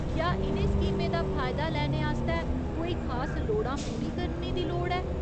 क्या इ'नें स्कीमें दा फायदा लैने आस्तै कोई खास लोड़ां पूरी करने दी लोड़ ऐ ?